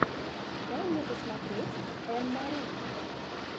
дай мне посмотреть энн мари